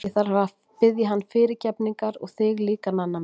Ég þarf að biðja hann fyrirgefningar og þig líka, Nanna mín.